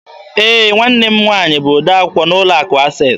Ee, nwanne m nwaanyị bụ odee akwụkwọ n'ụlọ akụ Access.